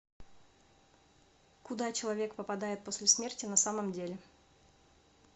куда человек попадает после смерти на самом деле